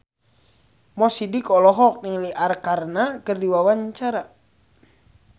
Mo Sidik olohok ningali Arkarna keur diwawancara